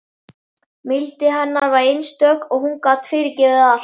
Mildi hennar var einstök og hún gat fyrirgefið allt.